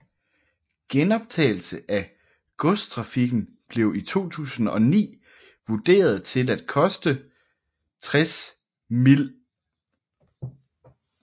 Genoptagelse af godstrafikken blev i 2009 vurderet til at koste 60 mill